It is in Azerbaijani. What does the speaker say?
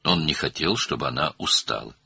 O, onun yorulmasını istəmirdi.